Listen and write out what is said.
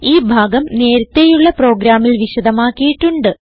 ഈ ഭാഗം നേരത്തേയുള്ള പ്രോഗ്രാമിൽ വിശദമാക്കിയിട്ടുണ്ട്